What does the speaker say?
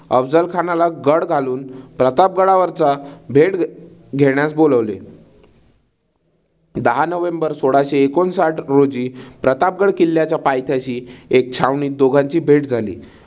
अफझल खानाला गळ घालून प्रताप गडावरच भेट घेण्यास बोलावले. दहा नोव्हेंबर सोळाशे एकोणसाठ रोजी प्रतापगड किल्ल्याच्या पायथ्याशी एक छावणीत दोघांची भेट झाली.